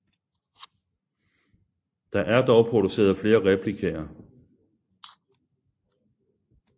Der er dog produceret flere replikaer